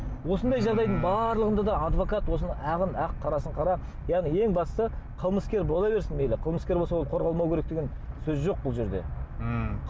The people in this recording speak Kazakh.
осындай жағдайдың барлығында да адвокат осыны ағын ақ қарасын қара яғни ең бастысы қылмыскер бола берсін мейлі қылмыскер болса ол қорғалмау керек деген сөз жоқ бұл жерде ммм